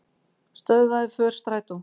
Stöðvaði för strætó